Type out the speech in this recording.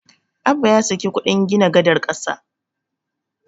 Abba ya saki kuɗin gina gadar ƙasa.